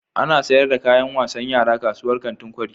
Ana sayar da kayan wasan yara kasuwar kantin kwari.